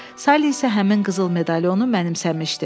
Sally isə həmin qızıl medalionu mənimsəmişdi.